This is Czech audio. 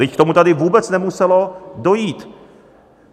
Vždyť k tomu tady vůbec nemuselo dojít.